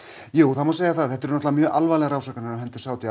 það má segja það þetta eru mjög alvarlegar ásakanir á hendur Sádi